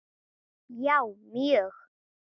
Já, mjög